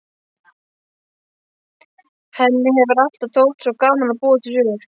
Henni hefur alltaf þótt svo gaman að búa til sögur.